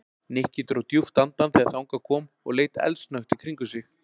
Nikki dró djúpt andann þegar þangað kom og leit eldsnöggt í kringum sig.